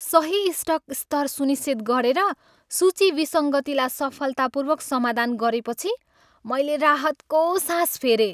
सही स्टक स्तर सुनिश्चित गरेर, सूची विसङ्गतिलाई सफलतापूर्वक समाधान गरेपछि मैले राहतको सास फेरेँ।